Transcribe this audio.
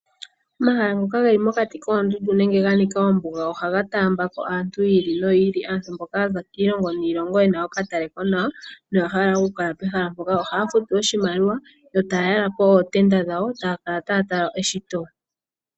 Omahala ngoka geli mokati koondundu nenge ga nika ombuga ohaga taambako aantu yi ili noyi ili aantu mboka yaza kiilongo niilongo yena okatalekonawa noya hala oku kala pehala mpoka . Ohaya futu oshimaliwa yo taya yalapo ootenda dhawo etaya kala taya tala eshito.